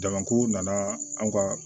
Jamaku nana anw ka